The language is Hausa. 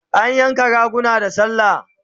Ana yanka raguna da sallah